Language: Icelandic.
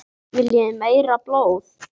Viljið þið meira blóð?